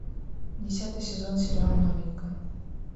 десятый сезон сериал новенькая